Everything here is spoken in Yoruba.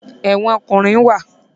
Ẹ̀wọ̀n ọkùnrin wa